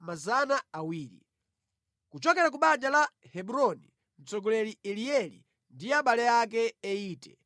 kuchokera ku banja la Hebroni, mtsogoleri Elieli ndi abale ake 80;